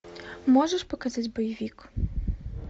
можешь показать боевик